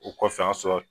O kɔfɛ o y'a sɔrɔ